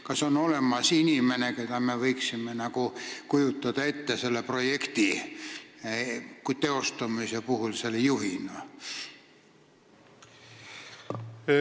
Kas on olemas inimene, keda me võiksime kujutada ette selle projekti teostamise puhul selle juhina?